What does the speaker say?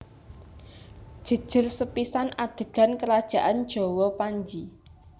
Jejer sepisan adegan kerajaan Jawa Panji